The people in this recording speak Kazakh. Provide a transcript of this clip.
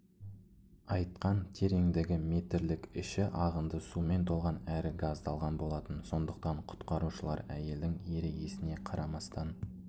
айтқан тереңдігі метрлік іші ағынды сумен толған әрі газдалған болатын сондықтан құтқарушылар әйелдің ерегісіне қарамастан